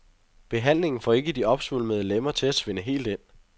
Behandlingen får ikke de opsvulmede lemmer til at svinde helt ind.